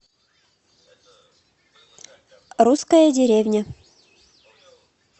русская деревня